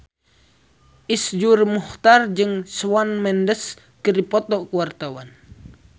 Iszur Muchtar jeung Shawn Mendes keur dipoto ku wartawan